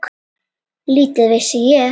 Lítið vissi ég.